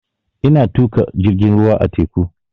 Ina tuƙa jirgin ruwa a teku